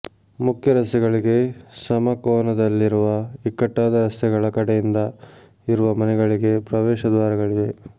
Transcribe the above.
ಮುಖ್ಯರಸ್ತೆಗಳಿಗೆ ಸಮಕೋನದಲ್ಲಿರುವ ಇಕ್ಕಟ್ಟಾದ ರಸ್ತೆಗಳ ಕಡೆಯಿಂದ ಇರುವ ಮನೆಗಳಿಗೆ ಪ್ರವೇಶ ದ್ವಾರಗಳಿವೆ